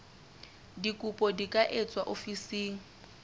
dikopo di ka etswa ofising